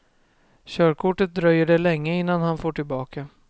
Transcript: Körkortet dröjer det länge innan han får tillbaka.